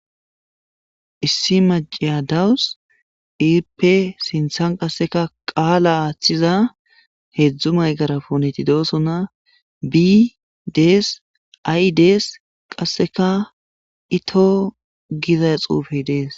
issi maciya dawus ippe sinthan qasseka qaala aaththiza heedzdzu maygara puneti doosona bi dees ay dees qasseka ito giza xuufey dees